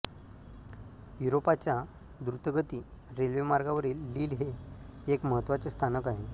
युरोपाच्या दृतगती रेल्वेमार्गांवरील लील हे एक महत्त्वाचे स्थानक आहे